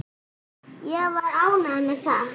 Ég var ánægð með það.